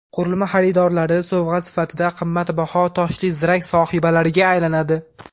Qurilma xaridorlari sovg‘a sifatida qimmatbaho toshli zirak sohibalariga aylanadi.